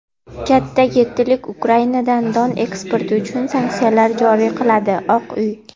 Katta yettilik Ukrainadan don eksporti uchun sanksiyalar joriy qiladi – Oq uy.